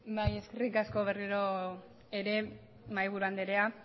bai eskerrik asko berriro ere mahaiburu andrea